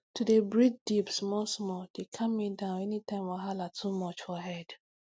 to dey breathe deep smallsmall dey calm me down anytime wahala too much for head